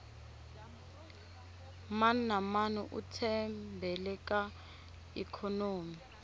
mani na mani u tshembele ka ikhonomi